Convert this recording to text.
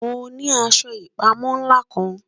Mo ni aṣọ ipamọ nla kan